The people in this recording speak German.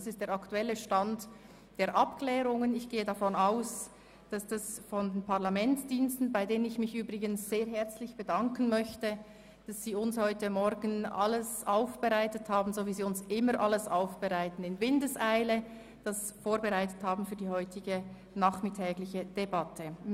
Das ist der aktuelle Stand der Abklärungen, und ich bedanke mich sehr herzlich bei den Parlamentsdiensten, die für uns heute Morgen alles in Windeseile abgeklärt und aufbereitet haben – so wie sie dies immer tun.